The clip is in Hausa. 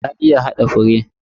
Ta iya hada fure.